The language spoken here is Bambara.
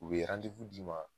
U ye d'i ma